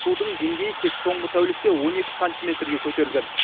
судың деңгейі тек соңғы тәулікте он екі сантиметрге көтерілген